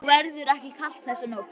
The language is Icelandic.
Og verður ekki kalt þessa nótt.